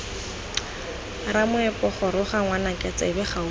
ramoepo goroga ngwanaka tsebe gaufi